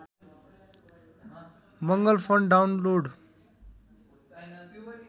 Mangal font download